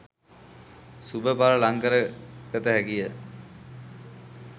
ශුභ ඵල ලං කරගත හැකිය